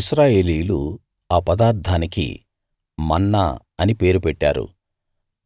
ఇశ్రాయేలీయులు ఆ పదార్థానికి మన్నా అని పేరు పెట్టారు